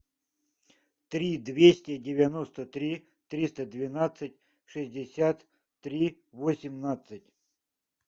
три двести девяносто три триста двенадцать шестьдесят три восемнадцать